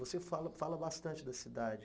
Você fala fala bastante da cidade.